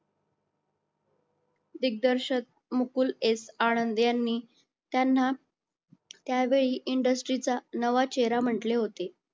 दिग्दर्शक मुकुल s आनंद यांनी त्यांना त्यावेळी industry चा नवा चेहरा म्हटले होते